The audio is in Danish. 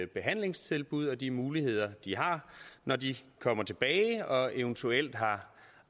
behandlingstilbud og de muligheder de har når de kommer tilbage og eventuelt har